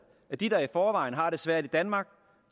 at de der i forvejen har det svært i danmark